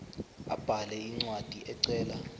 abhale incwadi ecela